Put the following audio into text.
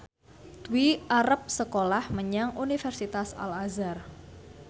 Dwi arep sekolah menyang Universitas Al Azhar